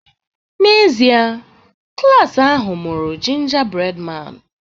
N'ezie, klas ahụ mụrụ 'Gingerbread Man'.